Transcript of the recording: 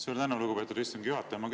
Suur tänu, lugupeetud istungi juhataja!